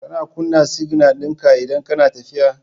Kana kuna signal dinka idan kana tafiya